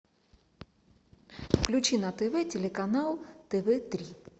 включи на тв телеканал тв три